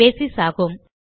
basis ஆகும்